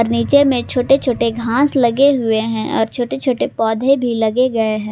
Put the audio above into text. नीचे में छोटे छोटे घास लगे हुए हैं और छोटे छोटे पौधे भी लगे गए हैं।